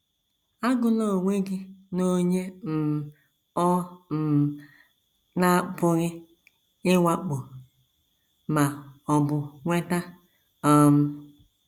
Agụla onwe gị n’onye um ọ um na - apụghị ịwakpo ma ọ bụ nweta. ” um